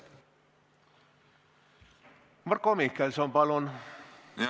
Marko Mihkelson, palun!